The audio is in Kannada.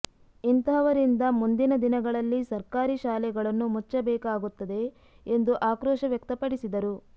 ಇಂತಹವರಿಂದ ಮುಂದಿನ ದಿನಗಳಲ್ಲಿ ಸರ್ಕಾರಿ ಶಾಲೆಗಳನ್ನು ಮುಚ್ಚಬೇಕಾಗುತ್ತದೆ ಎಂದು ಆಕ್ರೋಶ ವ್ಯಕ್ತಪಡಿಸಿದರು